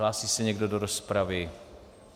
Hlásí se někdo do rozpravy?